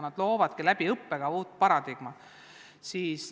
Nad loovad õppekava kaudu uut paradigmat.